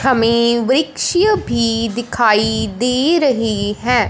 हमें वृक्ष भी दिखाई दे रहें है।